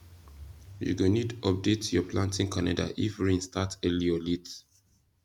you go need update your planting calendar if rain start early or late